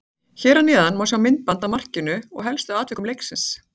Hér að neðan má sjá myndband af markinu og helstu atvikum leiksins.